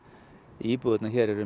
íbúðirnar hér eru